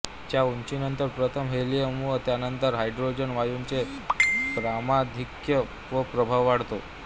च्या उंचीनंतर प्रथम हेलियम व त्यानंतर हायड्रोजन वायूंचे प्रमाणधिक्य व प्रभाव वाढतो